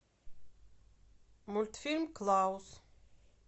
мультфильм клаус